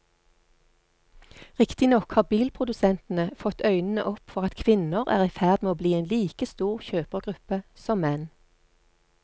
Riktignok har bilprodusentene fått øynene opp for at kvinner er i ferd med å bli en like stor kjøpergruppe som menn.